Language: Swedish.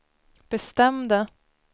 bestämde